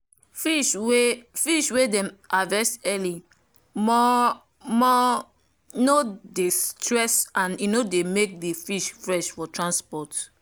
fish wey fish wey them harvest early mor- mor no dey stress and e dey make the fish fresh for transport